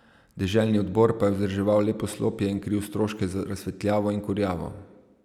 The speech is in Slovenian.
Deželni odbor pa je vzdrževal le poslopje in kril stroške za razsvetljavo in kurjavo.